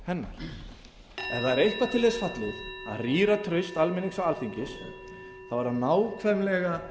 hennar ef það er eitthvað til þess fallið að rýra traust almennings og alþingis þá er það nákvæmlega